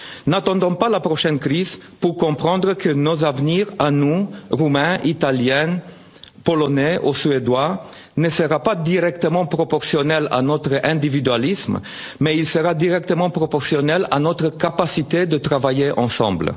où il faut? N'attendons pas la prochaine crise pour comprendre que notre avenir à nous, Roumains, Italiens, Polonais ou Suédois ne sera pas directement proportionnel à notre individualisme mais il sera directement proportionnel à notre capacité de travailler